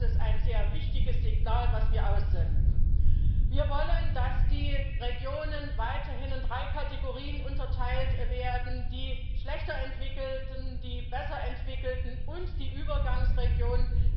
Ich glaube, das ist ein sehr wichtiges Signal, das wir aussenden. Wir wollen, dass die Regionen weiterhin in drei Kategorien unterteilt werden die schlechter entwickelten, die besser entwickelten und die Übergangsregionen.